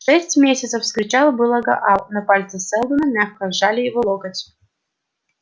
шесть месяцев вскричал было гаал но пальцы сэлдона мягко сжали его локоть